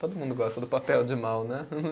Todo mundo gosta do papel de mal, né?